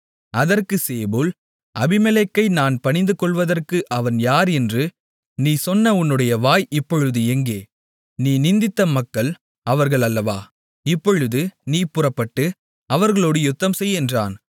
அதற்குச் சேபூல் அபிமெலேக்கை நாம் பணிந்துகொள்வதற்கு அவன் யார் என்று நீ சொன்ன உன்னுடைய வாய் இப்பொழுது எங்கே நீ நிந்தித்த மக்கள் அவர்கள் அல்லவா இப்பொழுது நீ புறப்பட்டு அவர்களோடு யுத்தம்செய் என்றான்